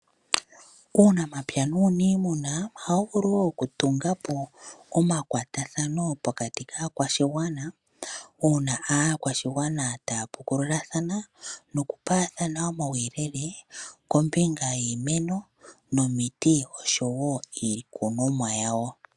Uunamapya nuuniimuna ohawu vulu wo oku tunga po omakwatathano pokati kaakwashigwana, uuna aakwashigwana taya pukululathana noku paathana omauyelele kombinga yiimeno nomiti oshowo iikunomwa yawo.